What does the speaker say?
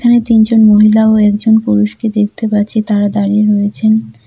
এখানে তিনজন মহিলা ও একজন পুরুষকে দেখতে পাচ্ছি তারা দাঁড়িয়ে রয়েছেন।